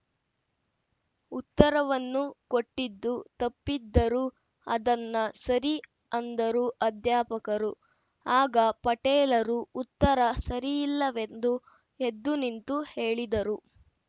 ಉತ್ತರವನ್ನು ಕೊಟ್ಟಿದ್ದು ತಪ್ಪಿದ್ದರೂ ಅದನ್ನ ಸರಿ ಅಂದರು ಅಧ್ಯಾಪಕರು ಆಗ ಪಟೇಲರು ಉತ್ತರ ಸರಿಯಿಲ್ಲವೆಂದು ಎದ್ದು ನಿಂತು ಹೇಳಿದರು